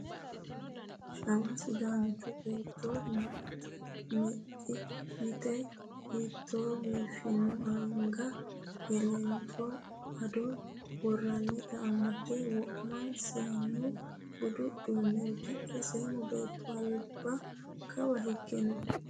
Shawa sidaancho beetto mexi yite hiitto biifino anga elento ado worannitta amde wo'ma seenu budu uduune udidhe seemmo beetto alba kawa hige no.